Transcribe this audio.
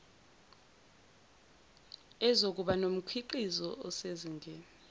ezokuba nomkhiqizo osezingeni